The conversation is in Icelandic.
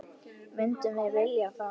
Myndum við vilja það?